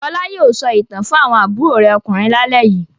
Fọlá yóò sọ ìtàn fún àwọn àbúrò rẹ̀ ọkùnrin lálẹ́ yìí.a